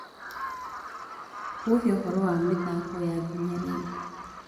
uheũhoro wa mithako ya nginya riu